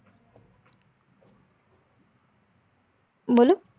બોલો